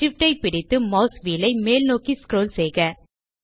SHIFT ஐ பிடித்து mouse wheel ஐ மேல் நோக்கி ஸ்க்ரோல் செய்க